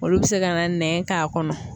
Olu bɛ se ka na nɛn k'a kɔnɔ.